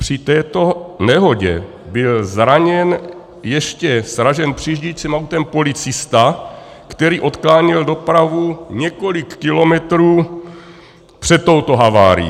Při této nehodě byl zraněn, ještě sražen přijíždějícím autem, policista, který odkláněl dopravu několik kilometrů před touto havárií.